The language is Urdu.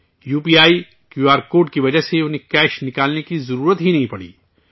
یوپی آئی کیو آر کوڈ کی وجہ سے انہیں کیس نکالنے کی ضرورت ہی نہیں پڑی